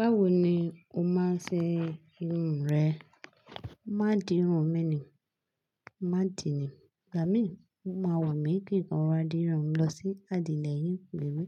Báwo ni o máa ń ṣe irun rẹ? Má di irun mi ni, mo má di ni. Ìgbà míì máa, o máa wù mí kí n kàn rọra dirun mi lọ sí àdílẹ̀ yẹn kò lè wí